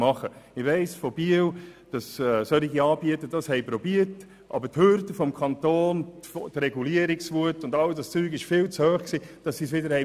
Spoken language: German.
In Biel beispielsweise musste ein solches Angebot wegen zu grosser Regulierungswut wieder gestoppt werden.